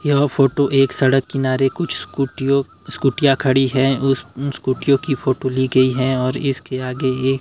यह फोटो एक सड़क किनारे कुछ स्कूटियों स्कूटियां खड़ी हैं उन स्कूटियों की फोटो ली गई है और इसके आगे एक --